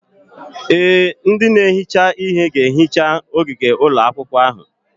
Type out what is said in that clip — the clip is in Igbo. Ee, ndị na-ehicha ihe ga-ehicha ogige ụlọ akwụkwọ ahụ.